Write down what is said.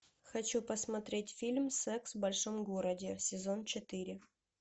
хочу посмотреть фильм секс в большом городе сезон четыре